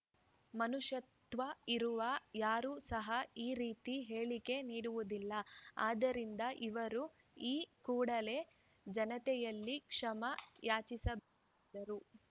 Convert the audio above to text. ಮನುಷ್ಯತ್ವ ಇರುವ ಯಾರೂ ಸಹ ಈ ರೀತಿ ಹೇಳಿಕೆ ನೀಡುವುದಿಲ್ಲ ಆದ್ದರಿಂದ ಇವರು ಈ ಕೂಡಲೇ ಜನತೆಯಲ್ಲಿ ಕ್ಷಮೆ ಯಾಚಿಸಬೇಕೆಂದರು